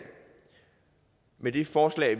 med det forslag